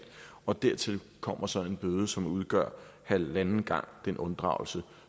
og dertil kommer så en bøde som udgør halvanden gang den unddragelse